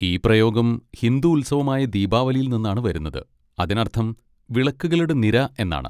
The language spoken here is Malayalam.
ഈ പ്രയോഗം ഹിന്ദു ഉത്സവമായ ദീപാവലിയിൽ നിന്നാണ് വരുന്നത്, അതിനർത്ഥം 'വിളക്കുകളുടെ നിര' എന്നാണ്.